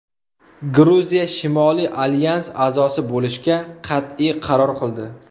Gruziya Shimoliy alyans a’zosi bo‘lishga qat’iy qaror qildi.